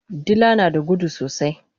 Dila nada gudu sosai